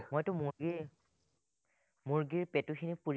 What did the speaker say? মইতো মুৰ্গী মুৰ্গীৰ পেটুখিনি পুৰি